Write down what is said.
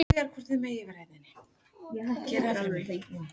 Á síðustu mánuðum meðgöngu gætu fósturhreyfingar minnkað.